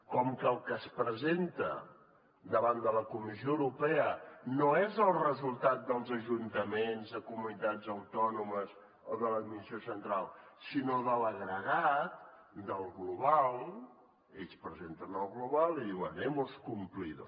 com que el que es presenta davant de la comissió europea no és el resultat dels ajuntaments de comunitats autònomes o de l’administració central sinó de l’agregat del global ells presenten el global i diuen hemos cumplido